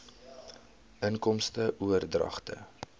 inkomste oordragte